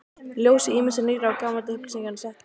Í ljósi ýmissa nýrra og gamalla upplýsinga setti